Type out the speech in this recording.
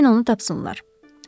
Deyin onu tapsınlar.